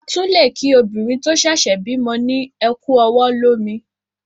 À tún lé kí obìnrin tó sèsè bímo ni "Ẹ ku ọwọ̀ lómi"